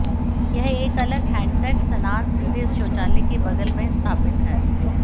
यह एक अलग हैंडसेट स्नान सीधे शौचालय के बगल में स्थापित है